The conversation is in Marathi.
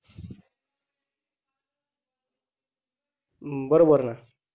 बरोबर ना